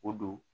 O don